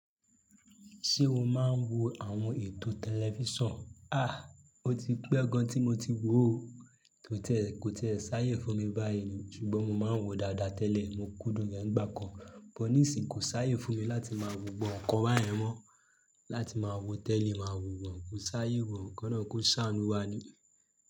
Ṣé o máa ń wo àwọn ètò tẹlifíṣàn? À, ó ti pẹ́ gan tí mo ti wò ó. Kò tiẹ́, kò tiẹ́ ṣáyé fún mi báyìí ni, ṣùgbọ́n mo máa ń wò ó dáadáa tẹ́lẹ̀. Mo kúndùn rẹ̀ nígbà kan, bọ̀ ní sì kò ṣáyé fún mi láti máa wò gbogbo awọn ǹkan báyẹn mọ́. Láti máa wo tẹ́li máa wò wọ̀n, kò ṣáyé mọ k'ọlọrun kó ṣàánú wa ni.